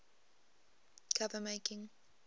cover making